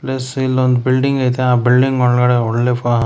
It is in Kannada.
ಪ್ಲಸ್ ಇಲ್ಲೊಂದ್ ಬಿಲ್ಡಿಂಗ್ ಐತೆ ಆ ಬಿಲ್ಡಿಂಗ್ ಒಳಗಡೆ ಒಳ್ಳೆ ಪಾ--